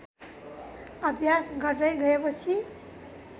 अभ्यास गर्दै गएपछि